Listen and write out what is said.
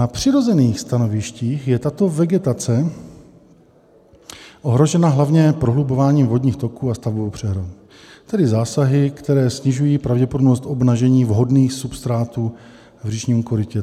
Na přirozených stanovištích je tato vegetace ohrožena hlavně prohlubováním vodních toků a stavbou přehrad, tedy zásahy, které snižují pravděpodobnost obnažení vhodných substrátů v říčním korytě."